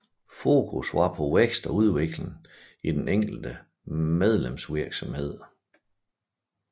Fokus var på vækst og udvikling i den enkelte medlemsvirksomhed